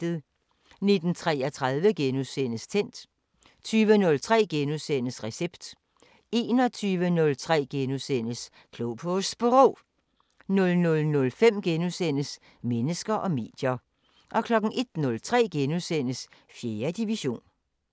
19:33: Tændt * 20:03: Recept * 21:03: Klog på Sprog * 00:05: Mennesker og medier * 01:03: 4. division *